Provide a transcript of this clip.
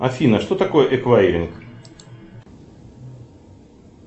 афина что такое эквайринг